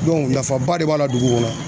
nafaba de b'a la dugu kɔnɔ